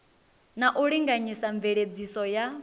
na u linganyisa mveledziso ya